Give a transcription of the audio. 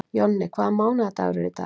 Jonni, hvaða mánaðardagur er í dag?